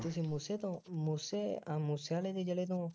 ਤੁਸੀਂ ਮੂਸੇ ਤੋਂ, ਮੂਸੇ ਆਹ ਮੂਸੇ ਵਾਲੇ ਦੇ ਜਿਲ੍ਹੇ ਤੋਂ